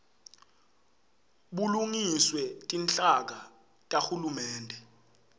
bulungiswe tinhlaka tahulumende